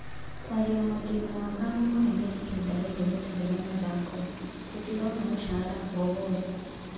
"Kwaria maa ndĩna wagagu mũnene ihinda rĩrĩ gũtarĩ na mathako, tũtirona mũcara o wothe."